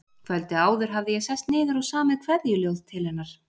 Kvöldið áður hafði ég sest niður og samið kveðjuljóð til hennar.